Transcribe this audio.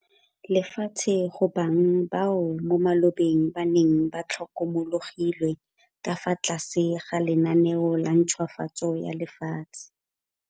Lefatshe go bang bao mo malobeng ba neng ba tlhokomologilwe ka fa tlase ga lenaneo la ntšhwafatso ya lefatshe.